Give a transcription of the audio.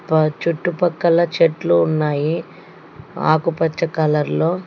ప చుట్టుపక్కల చెట్లు ఉన్నాయి ఆకుపచ్చ కలర్లో --